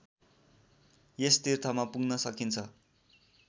यस तीर्थमा पुग्न सकिन्छ